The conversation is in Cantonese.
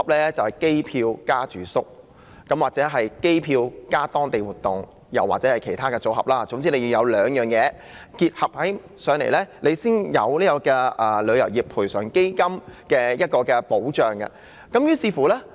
原來是指機票加住宿、機票加當地活動，又或是其中兩種，總之必須同時購買兩種產品才可獲得賠償基金的保障。